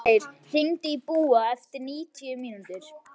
Falgeir, hringdu í Búa eftir níutíu mínútur.